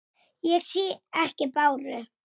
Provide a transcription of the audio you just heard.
Ekki að sinni.